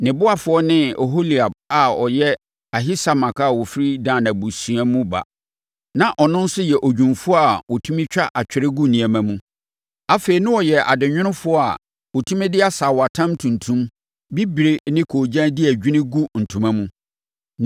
Ne ɔboafoɔ ne Oholiab a ɔyɛ Ahisamak a ɔfiri Dan abusua mu ba. Na ɔno nso yɛ odwumfoɔ a ɔtumi twa atwerɛ gu nneɛma mu. Afei na ɔyɛ adenwonofoɔ a ɔtumi de asaawatam tuntum, bibire ne koogyan di adwini gu ntoma mu.